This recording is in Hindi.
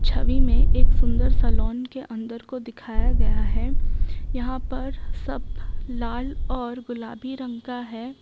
छवि में एक सुंदर सा लॉन के अंदर को दिखाया गया है यहां पर सब लाल और गुलाबी रंग का है।